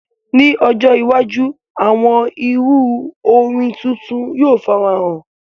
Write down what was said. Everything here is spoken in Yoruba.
Ni ojo iwaju, awọn iru orin titun yoo farahan.